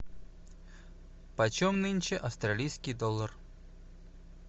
почем нынче австралийский доллар